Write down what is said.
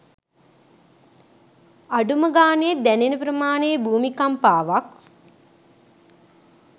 අඩුම ගානෙ දැනෙන ප්‍රමාණෙ භූමිකම්පාවක්